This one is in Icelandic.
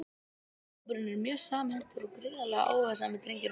Hópurinn er mjög samhentur og gríðarlega áhugasamir drengir og menn!